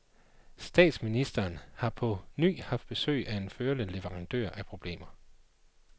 Statsministeren har på ny haft besøg af sin førende leverandør af problemer.